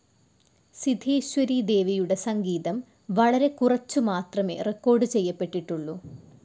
സിധേശ്വരി ദേവിയുടെ സംഗീതം വളരെക്കുറച്ചു മാത്രമേ റെക്കോർഡ്‌ ചെയ്യപ്പെട്ടിട്ടുള്ളൂ.